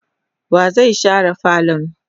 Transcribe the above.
wa zai share falon?